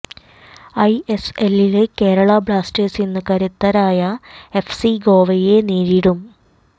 ഐഎസ്എലില് Kerala Blasters ഇന്ന് കരുത്തരായ FC ഗോവയെ നേരിടും